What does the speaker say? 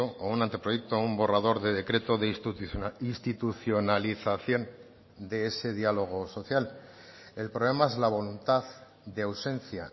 o un anteproyecto o un borrador de decreto de institucionalización de ese diálogo social el problema es la voluntad de ausencia